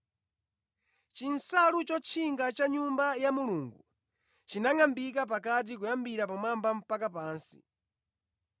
Chinsalu chotchinga cha mʼNyumba ya Mulungu chinangʼambika pakati kuyambira pamwamba mpaka pansi.